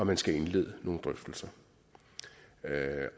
man skal indlede nogle drøftelser